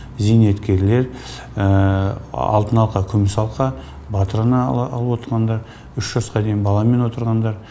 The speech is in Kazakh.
зейнеткерлер алтын алқа күміс алқа батыр ана алып отқандар үш жасқа дейін баламен отырғандар